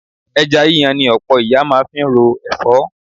Ẹja yíyan ni ọ̀pọ̀ ìyá máa ń fi ro ẹ̀fọ́